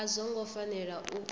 a zwo ngo fanela u